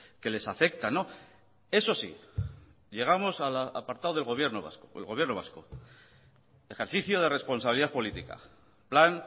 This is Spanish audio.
que les afecta eso sí llegamos al apartado del gobierno vasco el gobierno vasco ejercicio de responsabilidad política plan